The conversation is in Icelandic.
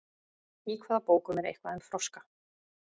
Í hvaða bókum er eitthvað um froska?